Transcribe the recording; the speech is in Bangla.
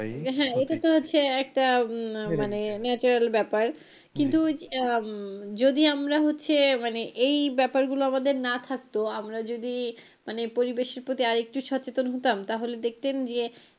হ্যাঁ এটা তো হচ্ছে একটা মানে natural ব্যাপার কিন্তু আহ উম যদি আমরা হচ্ছে মানে এই ব্যাপার গুলো আমাদের না থাকতো আমরা যদি মানে পরিবেশের প্রতি আরেকটু সচেতন হতাম তাহলে দেখতেন যে,